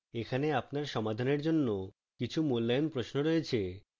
এখানে আপনার সমাধানের জন্য কিছু মূল্যায়ন প্রশ্ন রয়েছে